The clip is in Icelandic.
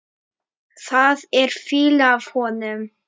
Það er fýla af honum.